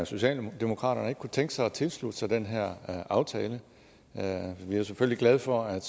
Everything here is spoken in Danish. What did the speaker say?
socialdemokraterne ikke kunne tænke sig at tilslutte sig den her aftale vi er selvfølgelig glade for at